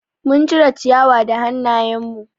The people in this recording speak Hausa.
Mun cire ciyawa da hanayen mu